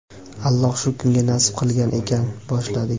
Alloh shu kunga nasib qilgan ekan, boshladik).